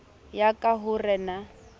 ya ka ho re na